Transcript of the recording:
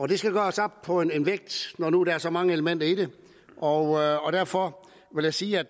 det skal gøres op på en vægt når nu der er så mange elementer i det og derfor vil jeg sige at